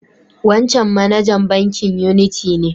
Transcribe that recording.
Wancan manajan bankin Unity ne.